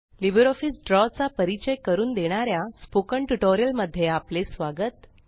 LibreOffice draw चा परिचय करून देणाऱ्या स्पोकन ट्यूटोरियल मध्ये आपले स्वागत